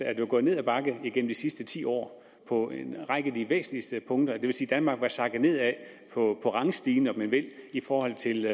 er det gået ned ad bakke igennem de sidste ti år på en række af de væsentligste punkter det vil sige at danmark er sakket nedad på rangstigen om man vil i forhold til